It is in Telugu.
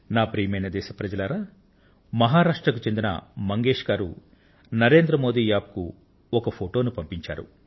ప్రియమైన నా దేశ వాసులారా మహారాష్ట్రకు చెందిన శ్రీమాన్ మంగేశ్ నరేంద్ర మోది App కు ఒక ఛాయాచిత్రాన్ని పంపించారు